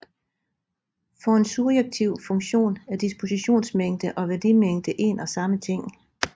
For en surjektiv funktion er dispositionsmængde og værdimængde en og samme ting